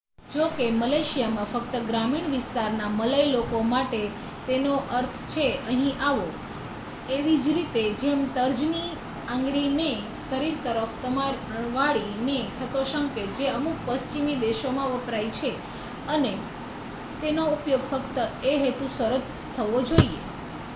"જો કે મલેશિયામાં ફક્ત ગ્રામીણ વિસ્તારના મલય લોકો માટે તેનો અર્થ છે "અહીં આવો" એવી જ રીતે જેમ તર્જની આંગળી ને શરીર તરફ વાળી ને થતો સંકેત જે અમુક પશ્ચિમી દેશોમાં વપરાય છે અને તેનો ઉપયોગ ફક્ત એ હેતુસર જ થવો જોઈએ.